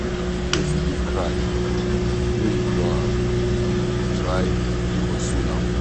If pesin dey cry, no ignore am, try console am.